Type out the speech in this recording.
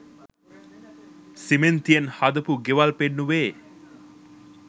සිමෙන්තියෙන් හදපු ගෙවල් පෙන්නුවෙ